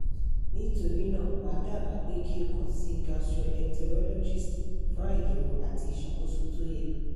nitorina ma daba pe ki o kan si gastroenterologist fun ayẹwo ati iṣakoso to yẹ